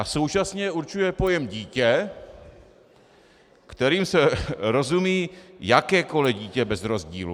A současně určuje pojem dítě, kterým se rozumí jakékoli dítě bez rozdílu.